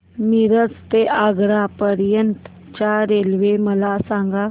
मिरज ते आग्रा पर्यंत च्या रेल्वे मला सांगा